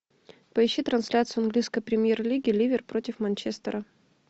поищи трансляцию английской премьер лиги ливер против манчестера